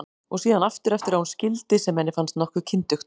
Og síðan aftur eftir að hún skildi, sem henni fannst nokkuð kyndugt.